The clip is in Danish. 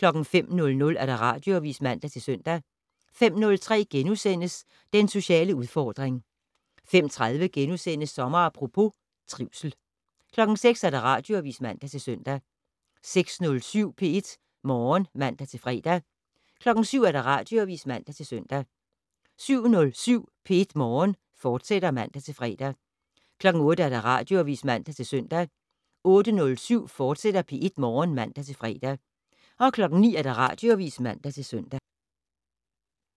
05:00: Radioavis (man-søn) 05:03: Den sociale udfordring * 05:30: Sommer Apropos - trivsel * 06:00: Radioavis (man-søn) 06:07: P1 Morgen (man-fre) 07:00: Radioavis (man-søn) 07:07: P1 Morgen, fortsat (man-fre) 08:00: Radioavis (man-søn) 08:07: P1 Morgen, fortsat (man-fre) 09:00: Radioavis (man-søn)